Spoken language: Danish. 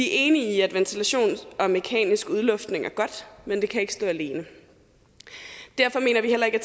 enige i at ventilation og mekanisk udluftning er godt men det kan ikke stå alene derfor mener vi heller ikke